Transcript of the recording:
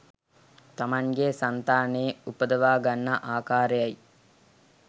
තමන්ගේ සන්තානයේ උපදවා ගන්නා ආකාරයයි